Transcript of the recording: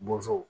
Bɔnsɔnw